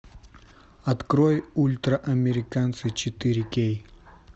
открой ультраамериканцы четыре кей